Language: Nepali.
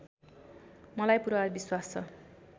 मलाई पुरा विश्वास छ